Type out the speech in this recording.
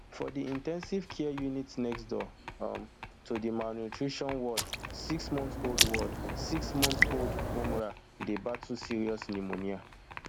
for di in ten sive care unit next door um to di malnutrition ward six month old ward six month old umrah dey battle serious pneumonia